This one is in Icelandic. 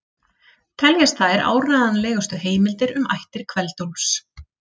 Teljast þær áreiðanlegustu heimildir um ættir Kveld-Úlfs.